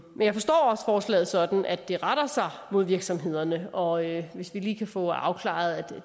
men jeg forstår også forslaget sådan at det retter sig mod virksomhederne og hvis vi lige kan få afklaret at